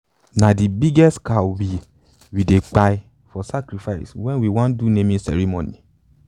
na the biggest cow we we dey kpai for sacrifice when we wan do naming ceremony.